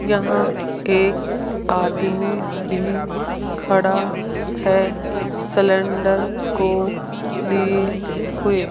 यहां एक आदमी भी खड़ा है सिलेंडर को लिये हुए --